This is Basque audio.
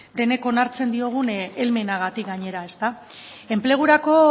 denok onartzen diogun helmenagatik gainera enplegurako